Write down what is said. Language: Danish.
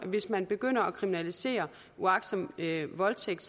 hvis man begynder at kriminalisere uagtsom voldtægt